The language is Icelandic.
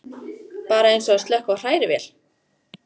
Bara eins og að slökkva á hrærivél.